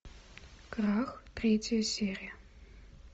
крах третья серия